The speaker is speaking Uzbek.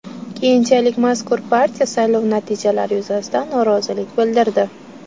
Keyinchalik mazkur partiya saylov natijalari yuzasidan norozilik bildirdi.